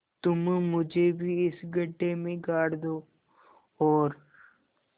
तुम मुझे भी इस गड्ढे में गाड़ दो और